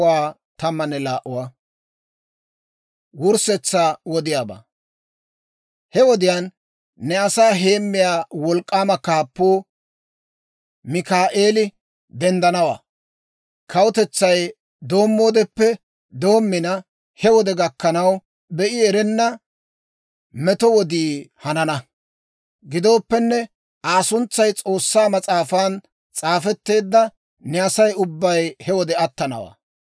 «He wodiyaan, ne asaa heemmiyaa wolk'k'aama kaappuu Mikaa'eeli denddanawaa. Kawutetsay doommoodeppe doommina, he wode gakkanaw, be'i erenna meto wodii hanana. Gidooppenne, Aa suntsay S'oossaa Mas'aafan s'aafetteedda ne Asay ubbay he wode attanawaa.